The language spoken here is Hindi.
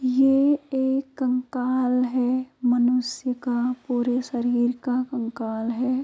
ये एक कंकाल है। मनुष्य का पूरे शरीर का कंकाल है।